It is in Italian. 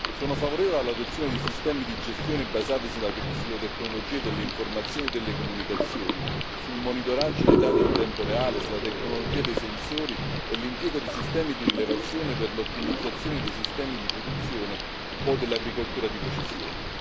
Sono favorevole all'adozione di sistemi di gestione basati sulle tecnologie dell'informazione e delle comunicazioni, sul monitoraggio dei dati in tempo reale, sulla tecnologia dei sensori e sull'impiego di sistemi di rilevazione per l'ottimizzazione dei sistemi di produzione o dell'agricoltura di precisione.